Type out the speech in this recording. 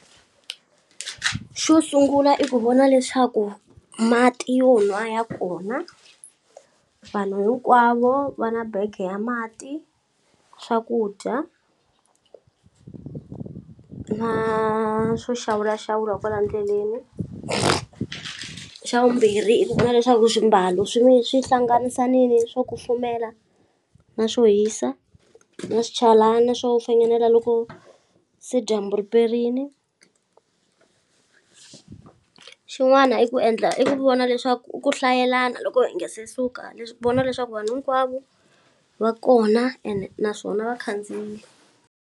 Xo sungula i ku vona leswaku mati yo nwa ya kona vanhu hinkwavo va na bege ya mati swakudya ku na swo xawulaxawula kwala ndleleni xa vumbirhi i ku ku na leswaku swimbalo swi hlanganisanili swo kufumela na swo hisa na swichalani swo finginela loko se dyambu riperini xin'wana i ku endla i ku vona leswaku u ku hlayelana loko hi nga se suka vona leswaku vanhu hinkwavu va kona ene naswona vakhandziyile.